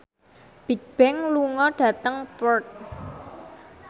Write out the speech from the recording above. Bigbang lunga dhateng Perth